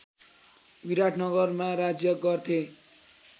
विराटनगरमा राज्य गर्थे